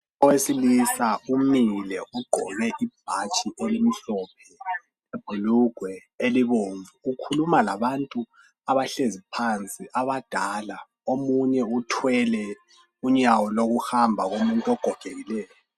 Owesilisa umile ugqoke ibhatshi elimhlophe lebhulugwe elobumvu ukhuluma labantu abahlezi phansi abadala omunye uthwele unyawo lokuhamba lomuntu ogogekileyo.